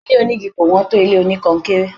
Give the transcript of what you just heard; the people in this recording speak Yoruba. Ilé onígi kò wọ́n tó ilé oníkọnkéré.